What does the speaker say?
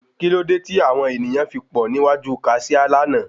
Kí ló dé tí àwon ènìyàn fi pọ̀ ní iwájú Kaṣiá lánàá?